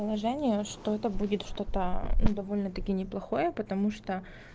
положение что это будет что-то но довольно таки неплохое потому что